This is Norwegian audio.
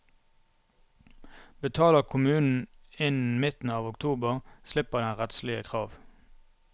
Betaler kommunen innen midten av oktober, slipper den rettslige krav.